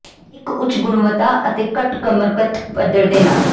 ਇੱਕ ਉੱਚ ਗੁਣਵੱਤਾ ਅਤੇ ਘੱਟ ਕਮਰਕਤ ਪੱਧਰ ਦੇ ਨਾਲ